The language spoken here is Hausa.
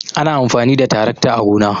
ana amfani da taracta a gona